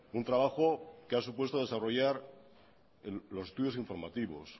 un trabajo que ha supuesto desarrollar los estudios informativos